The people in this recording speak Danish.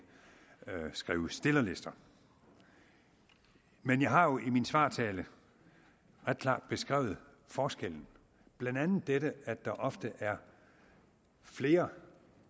skrive stillerlister men jeg har jo i min svartale ret klart beskrevet forskellen blandt andet dette at der ofte er flere